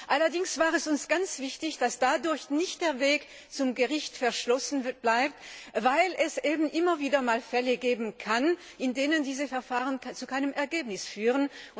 Allerdings war es uns auch ganz wichtig, dass dadurch nicht der Weg zum Gericht verschlossen bleibt, weil es eben immer wieder einmal Fälle geben kann, in denen diese Verfahren zu keinem Ergebnis führen.